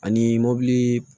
Ani mobili